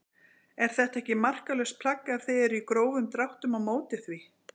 Er þetta ekki marklaust plagg ef þið eruð í grófum dráttum á móti því?